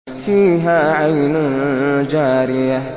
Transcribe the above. فِيهَا عَيْنٌ جَارِيَةٌ